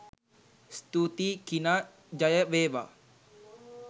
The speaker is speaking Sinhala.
ස්තුතියි කිනා ජය වේවා !